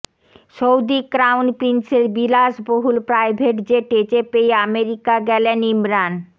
Saudi crown প্রিন্সের বিলাসবহুল private জেটে চেপেই আমেরিকা গেলেন ইমরান